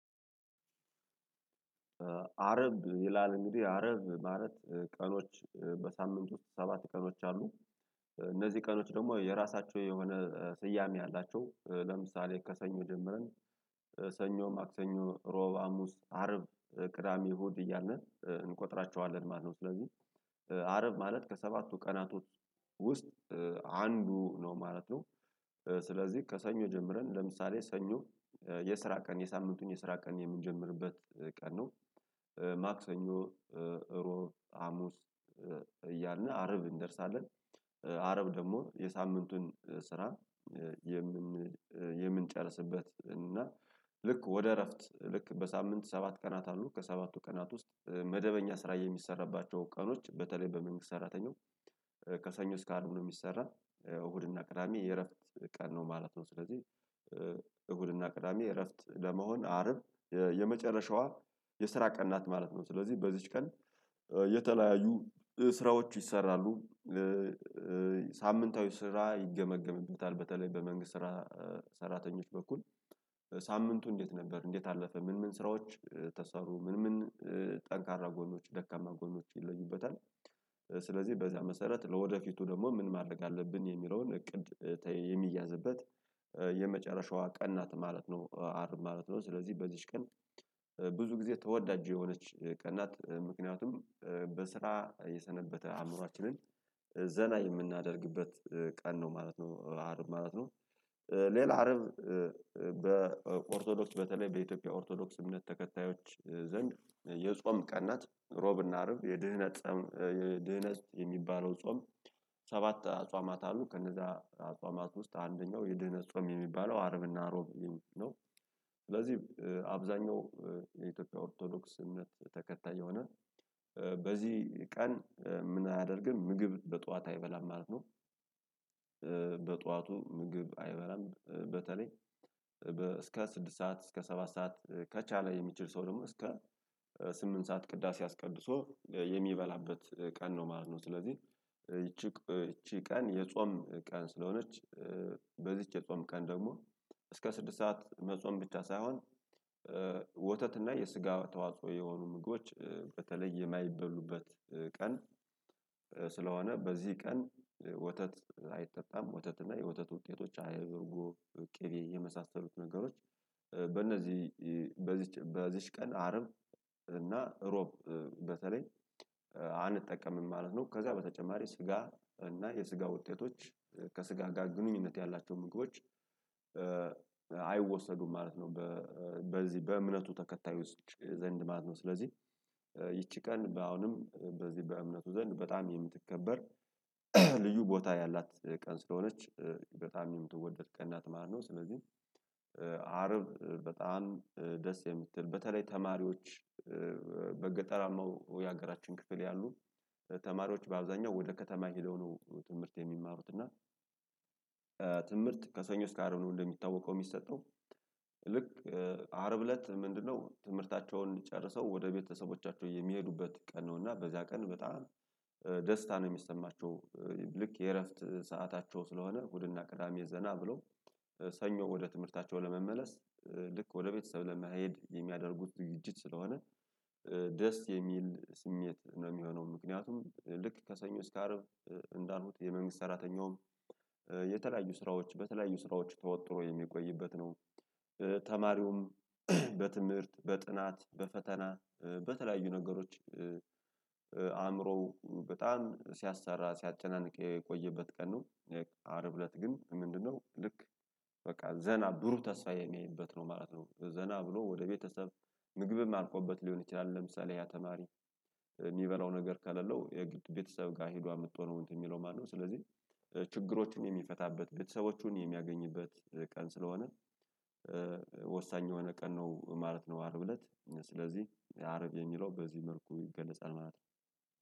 አርብ ይላል እንግዲህ አርብ ማለት ቀኖች በሳምንት ውስጥ ሰባት ቀኖች አሉ። እነዚህ ቀኖች ደግሞ የራሳቸው የሆነ ስያሜ አላቸው። ለምሳሌ ከሰኞ ጀምረን ሰኞ ማክሰኞ እሮብ ሀሙስ አርብ ቅዳሜ እሁድ እያለን እንቆጥራቸዋለን ማለት ነው። ስለዚህ አርብ ማለት ከሰባቱ ቀናቶች ውስጥ አንዱ ነው ማለት ነው። ስለዚህ ከሰኞ ጀምረን ለምሳሌ ሰኞ የስራ ቀን የሳምንቱን የስራ ቀን የምንጀምርበት ቀን ነው። ማክሰኞ እሮብ ሀሙስ እያልን አርብ እንደርሳለን። አረብ ደግሞ የሳምንቱን ስራ የምንጨርስበት እና ልክ ወደ እረፍት ልክ በሳምንት ሰባት ቀናት አሉ ከሰባቱ ቀናት ውስጥ መደበኛ ስራ የሚሰራባቸው ቀኖች በተለይ በመንግስት ሰራተኛው ከሰኞ እስከ አርብ ነው። የሚሰራ እሁድ እና ቅዳሜ የእረፍት ቀን ነው ማለት ነው። ስለዚህ እሁድና ቅዳሜ እረፍት ለመሆን አርብ የመጨረሻዋ የስራ ቀን ናት ማለት ነው። ስለዚህ በዚች ቀን የተለያዩ ስራዎቹ ይሰራሉ። ሳምንታዊ ስራ ይገመገምበታል በተለይ በመንግስት ስራ ሰራተኞች በኩል ሳምንቱ እንዴት ነበር እንዴት አለፈ ምን ምን ስራዎች ተሰሩ ምን ምን ጠንካራ ጎኖች ደካማ ጎኖች ይለዩበታል። ስለዚህ በዚያ መሰረት ለወደፊቱ ደግሞ ምን ማድረግ አለብን የሚለውን እቅድ የሚያዝበት የመጨረሻዋ ቀናት ናት ማለት ነው። አርብ ማለት ነው ስለዚህ በዚህች ቀን ብዙ ጊዜ ተወዳጁ የሆነች ቀን ናት። ምክንያቱም በስራ የሰነበተ አእምሮአችንን ዘና የምናደርግበት ቀን ነው ማለት ነው። አርብ ማለት ነው። ሌላ አርብ በኦርቶዶክስ በተለይ በኢትዮጵያ ኦርቶዶክስ እምነት ተከታዮች ዘንድ የጾም ቀናት ሮብና አርብ የድህነት የድህነት የሚባለው ጾም። ሰባት አጽዋማት አሉ ከነዛ አጽዋማት ውስጥ አንደኛው የድህነ ጾም የሚባለው አርብና እሮብ ነው። ስለዚህ አብዛኛው የኢትዮጵያ ኦርቶዶክስ እምነት ተከታይ የሆነ በዚህ ቀን ምን አያደርግም ምግብ በጧት አይበላም ማለት ነው። በጧቱ ምግብ አይበላም በተለይ እስከ ስድስት ሰዓት እስከ ሰባት ሰዓት ከቻለ የሚችል ሰው ደግሞ እስከ ስምንት ሰዓት ቅዳሴ አስቀድሶ የሚበላበት ቀን ነው ማለት ነው። ስለዚህ ይቺ ይቺ ቀን የጾም ቀን ስለሆነች በዚች የጾም ቀን ደግሞ እስከ ስድስት ሰዓት መጾም ብቻ ሳይሆን ወተት እና የስጋ ተዋጽኦ የሆኑ ምጎች በተለየ የማይበሉበት ቀን። ስለሆነ በዚህ ቀን ወተት አይጠጣም ወተት እና የወተት ውጤቶች አይብ እርጎ ቅቤ የመሳሰሉት ነገሮች በእነዚህ በዚች በዚች ቀን አረብ እና እሮብ በተለይ አንጠቀምም ማለት ነው። ከዛ በተጨማሪ ስጋ እና የስጋ ውጤቶች ከስጋ ጋር ግንኙነት ያላቸው ምግቦች አይወሰዱም ማለት ነው። በዚህ በእምነቱ ተከታይ ውስጥ ዘንድ ማለት ነው ስለዚህ ይቺ ቀን አሁንም በዚህ በእምነቱ ዘንድ በጣም የምትከበር ልዩ ቦታ ያላት ቀን ስለሆነች በጣም የምትወደድ ቀን ናት ማለት ነው። ስለዚህ አርብ በጣም ደስ የምትል በተለይ ተማሪዎች በገጠራማው የሀገራችን ክፍል ያሉ ተማሪዎች በአብዛኛው ወደ ከተማ ሄደው ነው ትምህርት የሚማሩት እና ትምህርት ከሰኞ እስከ አረብ ነው የሚታወቀው። የሚሰጠው ልክ አርብ እለት ምንድነው ትምህርታቸውን ጨርሰው ወደ ቤተሰቦቻቸው የሚሄዱበት ቀን ነው። እና በዛ ቀን በጣም ደስታ ነው የሚሰማቸው። ልክ የእረፍት ሰዓታቸው ስለሆነ እሁድና ቅዳሜ ዘና ብሎ ሰኞ ወደ ትምህርታቸው ለመመለስ ልክ ወደ ቤተሰብ ለመሄድ የሚያደርጉት ዝግጅት ስለሆነ ደስ የሚል ስሜት ነው የሚሆነው። ምክንያቱም ልክ ከሰኞ እስከ አርብ እንዳልኩት የመንግስት ሰራተኛውም የተለያዩ ስራዎች በተለያዩ ስራዎች ተወጥሮ የሚቆይበት ነው። ተማሪውም በትምህርት በጥናት በፈተና በተለያዩ ነገሮች አእምሮው በጣም ሲያሰራ ሲያጨናንቅ የቆየበት ቀን ነው። አርብ እለት ግን ምንድነው ልክ በቃ ዘና ብሩህ ተስፋ የሚያይበት ነው ማለት ነው። ዘና ብሎ ወደ ቤተሰብ ምግብም አልቆበት ሊሆን ይችላል። ለምሳሌ ያ ተማሪ የሚበላው ነገር ካሌለው የቤተሰብ ጋር ሄዶ አምጥቶ ነው የሚለው ማነው ስለዚህ? ችግሮችን የሚፈታበት ቤተሰቦቹን የሚያገኝበት ቀን ስለሆነ ወሳኝ የሆነ ቀን ነው ማለት ነው። አርብ እለት ስለዚህ የአርብ የሚለው በዚህ መልኩ ይገለጻል ማለት ነው